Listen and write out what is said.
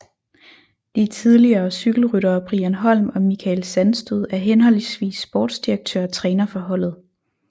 De tidligere cykelryttere Brian Holm og Michael Sandstød er henholdsvis sportsdirektør og træner for holdet